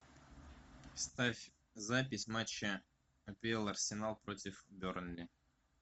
ставь запись матча апл арсенал против бернли